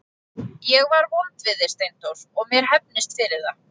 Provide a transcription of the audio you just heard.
Ég var vond við þig Steindór og mér hefnist fyrir það.